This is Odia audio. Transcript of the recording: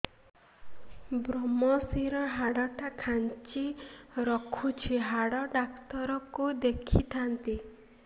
ଵ୍ରମଶିର ହାଡ଼ ଟା ଖାନ୍ଚି ରଖିଛି ହାଡ଼ ଡାକ୍ତର କୁ ଦେଖିଥାନ୍ତି